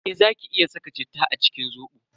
Eh zaki iya saka citta a cikin Zobo.